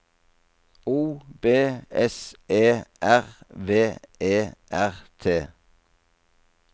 O B S E R V E R T